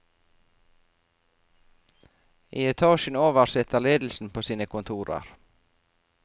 I etasjen over sitter ledelsen på sine kontorer.